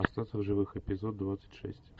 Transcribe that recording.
остаться в живых эпизод двадцать шесть